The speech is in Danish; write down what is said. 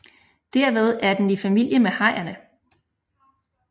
Derved er den i familie med hajerne